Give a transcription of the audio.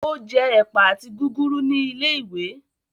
O je ẹpa àti gúgúrú ní ilé-ìwé.